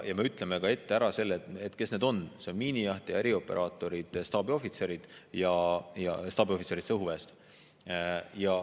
Ja me ütleme ette ära, kes need on: miinijahtija, erioperaatorid ja staabiohvitserid, staabiohvitserid õhuväest.